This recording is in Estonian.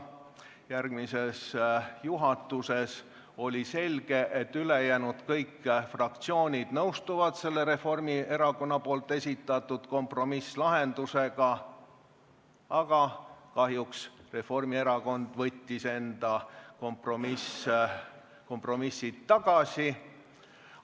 Järgmisel juhatuse koosolekul oli selge, et kõik ülejäänud fraktsioonid nõustuvad Reformierakonna esitatud kompromisslahendusega, aga kahjuks Reformierakond võttis selle kompromissettepaneku tagasi.